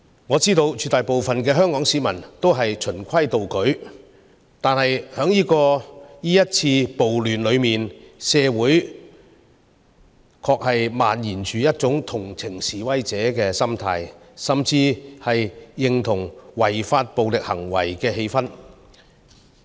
我知道絕大部分香港市民都是循規蹈矩的，但在這次暴亂之中，社會確實漫延着一種同情示威者的心態，甚至認同違法暴力行為的氣氛。